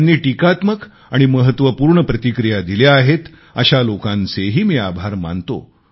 ज्यांनी टीकात्मक आणि महत्वपूर्ण प्रतिक्रिया दिल्या आहेत अशा लोकांचेही मी आभार मानतो